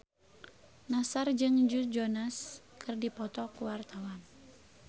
Nassar jeung Joe Jonas keur dipoto ku wartawan